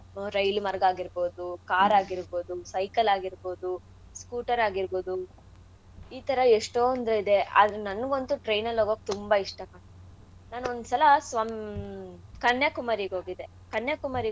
Rail ಉ ಮಾರ್ಗ ಆಗಿರ್ಬೌದು, car ಆಗಿರ್ಬೌದು, cycle ಆಗಿರ್ಬೌದು, scooter ಆಗಿರ್ಬೌದು ಈ ತರ ಎಷ್ಟೋಂದ್ ಇದೇ ಆದ್ರೆ ನನಿಗಂತೂ train ಅಲ್ ಹೋಗೋಕ್ ತುಂಬಾ ಇಷ್ಟ. ನಾನ್ ಒಂದ್ಸಲ ಸ್ವಂ ಕನ್ಯಾಕುಮಾರಿಗ್ ಹೋಗಿದ್ದೆ. ಕನ್ಯಾಕುಮಾರಿಗ್.